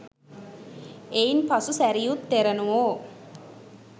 එයින් පසු සැරියුත් තෙරණුවෝ